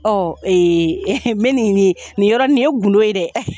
Ɔɔ ee n be nin nin yɔrɔ nin, nin ye gundo ye dɛ!